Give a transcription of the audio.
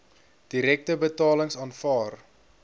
direkte betalings aanvaar